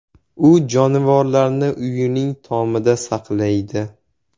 U jonivorlarni uyining tomida saqlaydi.